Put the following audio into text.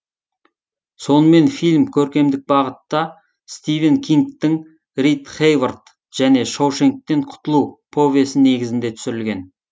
сонымен фильм көркемдік бағытта стивен кингтің рит хейворт және шоушенктен құтылу повесі негізінде түсірілген